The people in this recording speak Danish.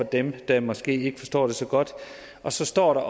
dem der måske ikke forstår det så godt og så står der